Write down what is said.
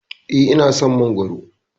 Eh, ina son Mangwaro.